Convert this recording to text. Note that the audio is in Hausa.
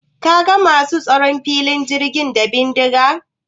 Ka ga masu tsaron filin jirgin da bindiga?